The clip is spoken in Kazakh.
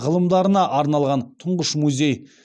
ғылымдарына арналған тұңғыш музей